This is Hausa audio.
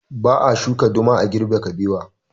Ba a shuka duma a girbe kabewa